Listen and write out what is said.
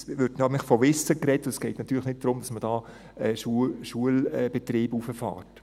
es wird nämlich von Wissen geredet, und es geht natürlich nicht darum, dass man da einen Schulbetrieb hochfährt.